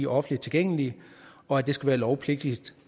offentligt tilgængelige og at det skal være lovpligtigt